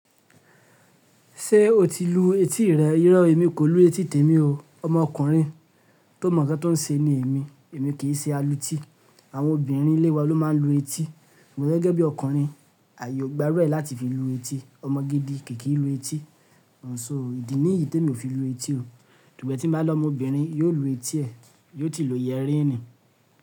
Ṣé o ti lu etí rẹ? Irọ́ èmi kò lú etí tèmi o. Ọmọ ọkùnrin tó mọ̀ nǹkan tó ń ṣe ni èmi. Èmi kì í ṣe alu etí. Àwọn obìnrin ilé wa ló máa ń lu etí. Mo gẹ́gẹ́ bí ọkùnrin, ààyò gba rẹ láti fi lu etí. Ọmọ gidi kì í lu etí. Sọ́, ìdí níyì tí emi ò fi lu etí o. Sugbọ̀n tí mo bá lọmọ obìnrin, yóò lu etí ẹ. Yóò ti lo yieríini.